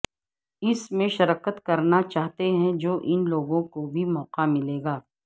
اس میں شرکت کرنا چاہتے ہیں جو ان لوگوں کو بھی موقع ملے گا